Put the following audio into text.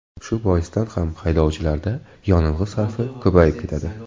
Shu boisdan ham haydovchilarda yonilg‘i sarfi ko‘payib ketadi.